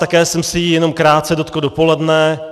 Také jsem se jí jenom krátce dotkl dopoledne.